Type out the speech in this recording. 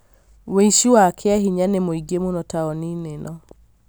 wũici wa kĩahĩnya ni mũingĩ mũno taũni-inĩ ĩno